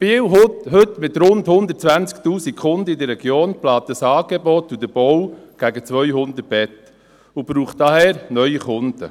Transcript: Biel, heute mit rund 120 000 Kunden in der Region, plant das Angebot und den Bau von gegen 200 Betten und braucht daher neue Kunden.